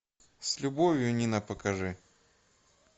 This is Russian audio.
с любовью нина покажи